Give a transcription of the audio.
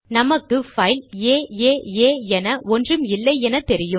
நமக்கு பைல் ஏஏஏ என ஒன்றும் இல்லை என தெரியும்